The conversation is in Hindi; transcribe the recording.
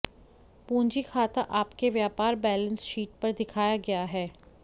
पूंजी खाता आपके व्यापार बैलेंस शीट पर दिखाया गया है